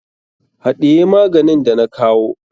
Haɗiye maganin da na kawo.